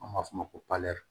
An b'a fɔ o ma ko